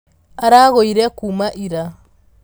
Aragũire kuma ira.